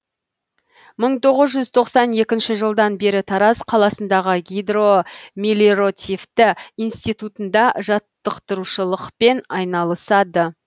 мың тоғыз жүз тоқсан екінші жылдан бері тараз қаласындағы гидромелиротативті институтында жатықтырушылықпен айналысады